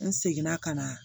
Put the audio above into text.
N seginna ka na